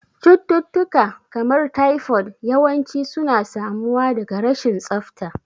Cututtuka, kamar typhoid, yawanci suna samuwa daga rashin tsafta.